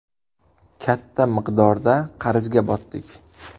Katta miqdorda qarzga botdik.